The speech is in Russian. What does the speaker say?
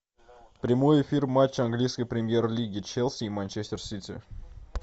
прямой эфир матча английской премьер лиги челси и манчестер сити